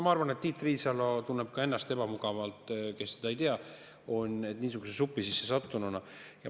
Ma arvan, et ka Tiit Riisalo, kes teda ei tea, tunneb ennast niisuguse supi sisse sattununa ebamugavalt.